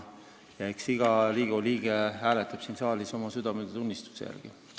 Eks iga Riigikogu liige hääleta oma südametunnistuse järgi.